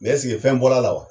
Mɛ ɛseke fɛn bɔr'a la wa?